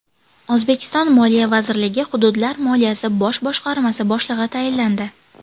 O‘zbekiston Moliya vazirligi Hududlar moliyasi bosh boshqarmasi boshlig‘i tayinlandi.